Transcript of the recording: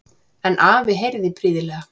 En afi heyrði prýðilega.